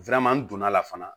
don'a la fana